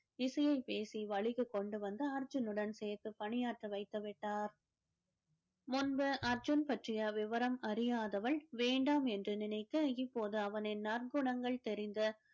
இசையைப் பேசி வழிக்கு கொண்டு வந்து அர்ஜுனுடன் சேர்த்து பணியாற்ற வைத்து விட்டார் முன்பு அர்ஜுன் பற்றிய விவரம் அறியாதவள் வேண்டாம் என்று நினைத்து இப்போது அவனின் நற்குணங்கள் தெரிந்த